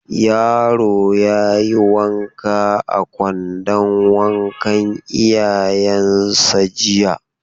Yaro ya yi wanka a kwandon wankan iyayensa jiya.